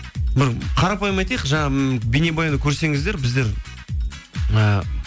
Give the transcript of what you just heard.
бір қарапайым айтайық жаңа бейнебаянды көрсеңіздер біздер і